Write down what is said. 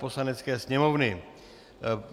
Poslanecké sněmovny